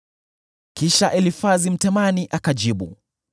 Kisha Elifazi Mtemani akajibu: